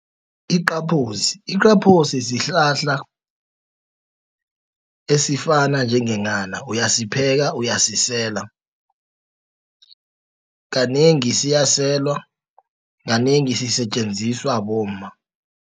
Iqaphozi, sihlahla esifana njengenghana, uyasipheka, uyasisela, kanengi siyaselwa, kanengi sisetjenziswa bomma.